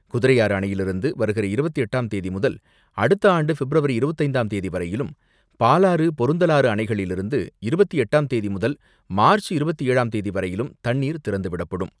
குதிரையாறு அணையிலிருந்து வருகிற இருபத்து எட்டாம் தேதி முதல் அடுத்த ஆண்டு பிப்ரவரி இருபத்து ஐந்தாம் தேதி வரையிலும், பாலாறு, பொருந்தலாறு அணைகளிலிருந்து இருபத்து எட்டாம் தேதி முதல் மார்ச் இருபத்து ஏழாம் தேதிவரையிலும் தண்ணீர் திறந்துவிடப்படும்.